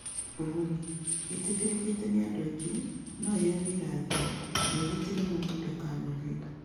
Ũguni: Ĩtĩkĩrĩkĩte nĩ andũ aingĩ, no ĩheane irathimo, na ĩgitĩre mũndũ ndakanogio.